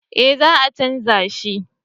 Eh za a canja shi